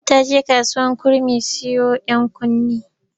Amina ta je kasuwar kurmi siyo ɗankunne.